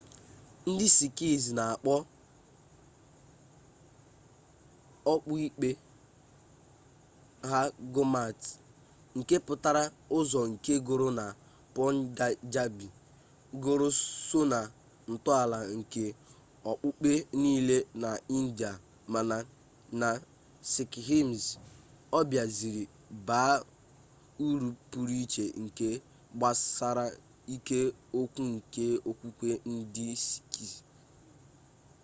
ndị sikh na-akpọ okpukpe ha gurmat nke pụtara ụzọ nke guru na punjabi guru so na ntọala nke okpukpe niile na india mana na sikhism ọ biaziri baa uru pụrụ iche nke gbasara isi okwu nke okwukwe ndị sikh